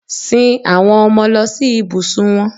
Sin àwọn ọmọ lọ sí ibùsùn wọn.